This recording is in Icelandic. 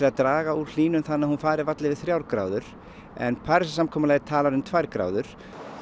að draga úr hlýnun þannig að hún fari varla yfir þrjár gráður en Parísarsamkomulagið talar um tvær gráður